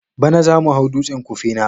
Bana zamu hau dutsen Kufena.